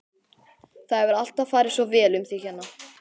Það hefur alltaf farið svo vel um þig hérna.